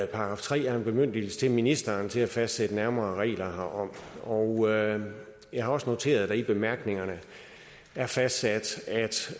§ tre er en bemyndigelse til ministeren til at fastsætte nærmere regler herom og jeg har også noteret at der i bemærkningerne er fastsat